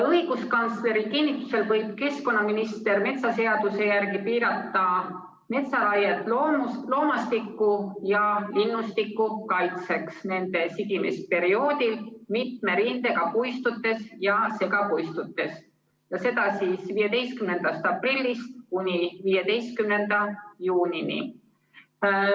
Õiguskantsleri kinnitusel võib keskkonnaminister metsaseaduse järgi piirata metsaraiet loomastiku ja linnustiku kaitseks sigimisperioodil mitme rindega puistutes ja segapuistutes, seda 15. aprillist kuni 15. juunini.